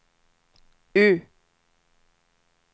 U